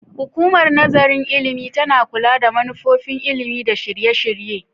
Hukumar Nazarin Ilimi tana kula da manufofin ilimi da shirye-shirye.